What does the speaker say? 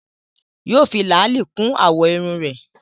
Yóò fi làálí kún àwọ̀ irun rẹ̀